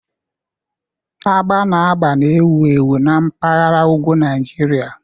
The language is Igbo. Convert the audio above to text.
Agba na agba na-ewu ewu na mpaghara ugwu Nigeria.